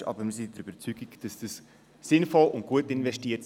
Wir sind aber der Überzeugung, dieses werde sinnvoll und gut investiert.